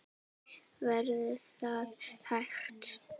Verður það hægt?